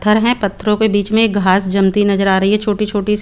पत्थर है पत्थरो के बीच में घास जमती नजर आ रही है छोटी छोटी सी.